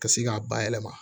Ka se k'a bayɛlɛma